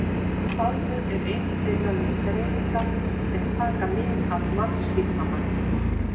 Faðmur er ein þeirra lengdareininga sem taka mið af mannslíkamanum.